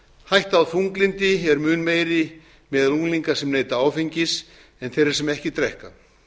hætta á þunglyndi er mun meiri meðal unglinga sem neyta áfengis en þeirra sem ekki drekka